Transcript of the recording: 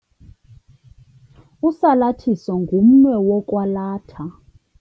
Usalathiso ngumnwe wokwalatha.